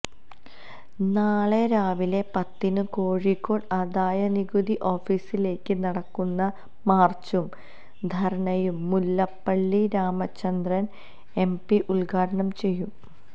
നാളെ രാവിലെ പത്തിന് കോഴിക്കോട് ആദായനികുതി ഓഫീസിലേക്ക് നടക്കുന്ന മാര്ച്ചും ധര്ണയും മുല്ലപ്പള്ളി രാമചന്ദ്രന് എം പി ഉദ്ഘാടനം ചെയ്യും